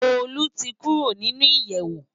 Tolu ti kùró ninú iyèwó